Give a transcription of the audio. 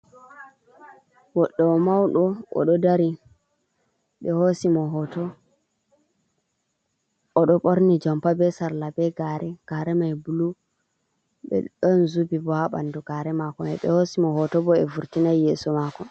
Goɗɗo o mauɗo oɗo dari oɗo ɓorni jompa be sarla be gare, gare mai blu be ɗon zubi bo ha ɓandu gare mako mai be hosi mo hoto bo ɓe vurtinai yeso mako.